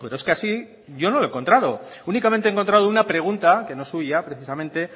es que así yo no lo he encontrado únicamente he encontrado una pregunta que no es suya precisamente